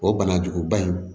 O banajuguba in